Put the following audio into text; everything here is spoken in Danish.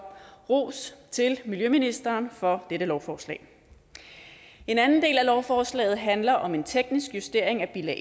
ros til miljøministeren for dette lovforslag en anden del af lovforslaget handler om en teknisk justering af bilag